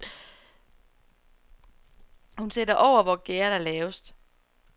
Hun sætter over, hvor gærdet er lavest.